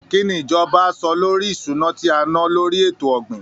Kí ni ìjọba á sọ lórí ìṣúná tí a ná lórí ètò ọ̀gbìn?